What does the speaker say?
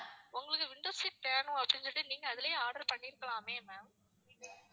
உங்களுக்கு window seat வேணும் அப்படின்னு சொல்லிட்டு நீங்க அதுலேயே order பண்ணிருக்கலாமே ma'am